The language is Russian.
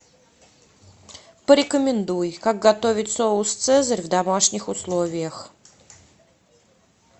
порекомендуй как готовить соус цезарь в домашних условиях